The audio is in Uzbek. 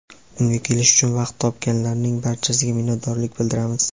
Unga kelish uchun vaqt topganlarning barchasiga minnatdorlik bildiramiz!.